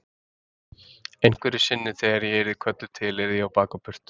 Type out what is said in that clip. Einhverju sinni þegar ég yrði kölluð til yrði ég á bak og burt.